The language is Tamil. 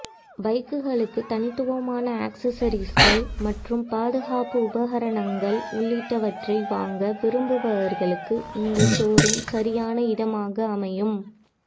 பைக்குகளுக்கு தனித்துவமான ஆக்சஸெரீகள் மற்றும் பாதுகாப்பு உபகரணங்கள் உள்ளிட்டவற்றை வாங்க விரும்புவர்களுக்கு இந்த ஷோரூம் சரியான இடமாக அமையும்